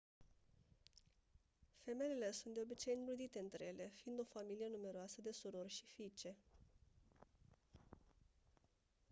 femelele sunt de obicei înrudite între ele fiind o familie numeroasă de surori și fiice